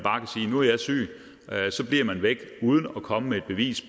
syg og så bliver man væk uden at komme med et bevis